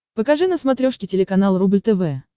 покажи на смотрешке телеканал рубль тв